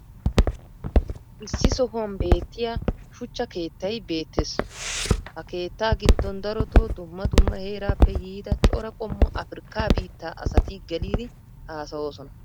issi sohuwan beetiya shuchcha keettay beetees. ha keettaa giddon darotoo dumma dumma heeraappe yiida cora qommo afrikkaa biittaa asati geliddi haasayoosona.